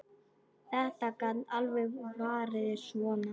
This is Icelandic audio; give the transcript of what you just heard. Þetta gat alveg farið svona.